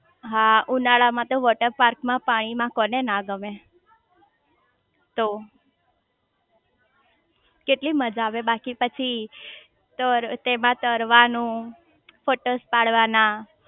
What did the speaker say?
હા ઉનાળામાં તો વોટરપાર્ક માં પાણી માં કોણ ના ગમે તો કેટલી મજા આવે બાકી પછી એમાં તરવાનું ફોટોસ પાડવાના